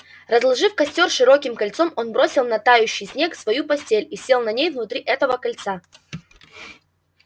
разложив костёр широким кольцом он бросил на тающий снег свою постель и сел на ней внутри этого кольца